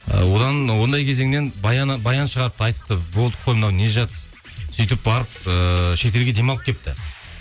і одан ондай кезеңнен баян шығарыпты айтыпты болды қой мынау не жатыс сөйтіп барып ыыы шетелге демалып келіпті